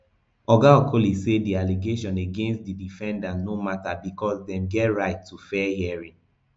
oga okoli say di allegation against di defendants no matter becos dem get right to fair hearing